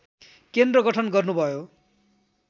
केन्द्र गठन गर्नुभयो